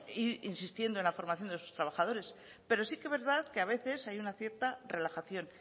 ir insistiendo en la formación de sus trabajadores pero sí que es verdad que a veces hay una cierta relajación